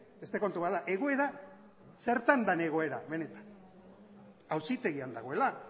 beste kontu bat da egoera zertan den egoera benetan auzitegian dagoela